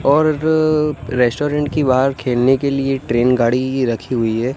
और रेस्टोरेंट की बाहर खेलने के लिए ट्रेन गाड़ी रखी हुई है।